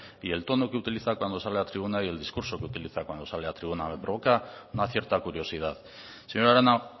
y el tono que utiliza cuando sale a tribuna y el discurso que utiliza cuando sale a tribuna me provoca una cierta curiosidad señora arana